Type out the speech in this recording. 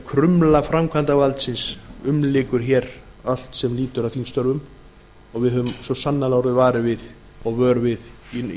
krumla framkvæmdarvaldsins umlykur hér allt sem lýtur að þingstörfum það höfum við svo sannarlega orðið vör við í